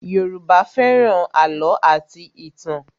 Yoruba fẹ́ràn àlọ́ àti ìtàn